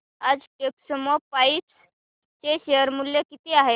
आज टेक्स्मोपाइप्स चे शेअर मूल्य किती आहे